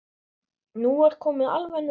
Nú er komið alveg nóg!